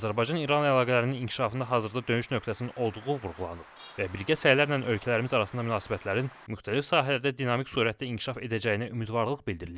Azərbaycan-İran əlaqələrinin inkişafında hazırda döyüş nöqtəsinin olduğu vurğulanıb və birgə səylərlə ölkələrimiz arasında münasibətlərin müxtəlif sahələrdə dinamik sürətlə inkişaf edəcəyinə ümidvarlıq bildirilib.